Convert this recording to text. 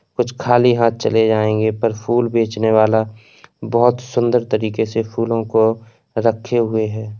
कुछ खाली हाथ चले जाएंगे पर फूल बेचने वाला बोहोत सुंदर तरीके से फूलों को रखे हुए है।